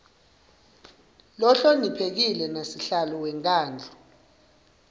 lohloniphekile nasihlalo wemkhandlu